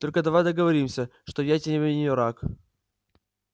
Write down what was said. только давай договоримся что я тебе не враг